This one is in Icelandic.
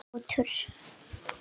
Þinn sonur, Knútur.